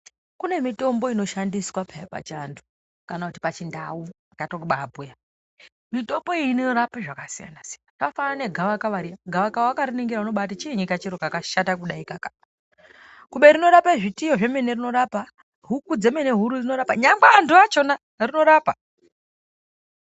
Kune mitombo inoshandiswa peya pachiantu kana kuti pachindau inotoba bhuya. mitombo iyi inorapa zvakasiyana-siyana. Zvakafanana negavakava riya gavakava vakariningira unobati chiini kachiro kakashata kudaikaka kube rinorape zvitiyo zvemene rinorapa, huku dzemene huru rinorapa nyangwe vantu vachona rinorapa.